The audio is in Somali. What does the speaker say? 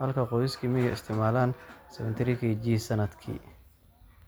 halka qoysaska miyiga ay isticmaalaan qiyaastii 73 kg sanadkii.